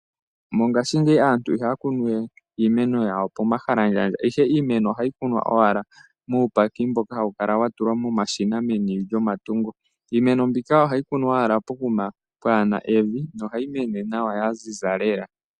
MOngashingeyi aantu iha ya kunu we iimeno yawo pomahalandjandja, ihe iimeno oha yi kunwa owala muubaki mboka ha wu kala wa tulwa momashina meni lyomatungo. Iimenp ,bika oha yi kunwa owala pokuma pwaana evi noha yi mene nawa, yaziza lela.